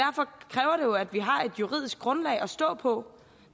jo at vi har et juridisk grundlag at stå på